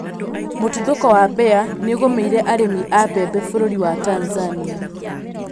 Mũtuthũko wa mbĩa nĩũgũmĩre arĩmi a mbembe bũrũri wa Tanzania